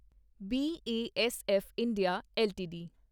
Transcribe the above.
BASF India LTD